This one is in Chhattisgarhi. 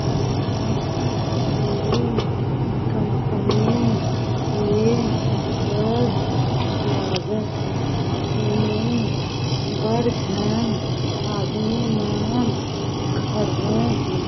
ऐ हा कोई कंपनी ऐ कस लागत हे ऐ में बढ़ झन आदमी मन खड़िया हे।